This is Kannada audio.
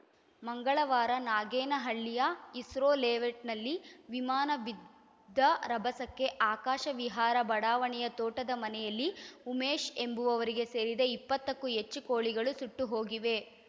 ಮಂಗಳವಾರ ನಾಗೇನಹಳ್ಳಿಯ ಇಸ್ರೋ ಲೇಔಟ್‌ನಲ್ಲಿ ವಿಮಾನ ಬಿದ್ದ ರಭಸಕ್ಕೆ ಆಕಾಶ ವಿಹಾರ ಬಡಾವಣೆಯ ತೋಟದ ಮನೆಯಲ್ಲಿ ಉಮೇಶ್‌ ಎಂಬುವವರಿಗೆ ಸೇರಿದ ಇಪ್ಪತ್ತಕ್ಕೂ ಹೆಚ್ಚು ಕೋಳಿಗಳು ಸುಟ್ಟು ಹೋಗಿವೆ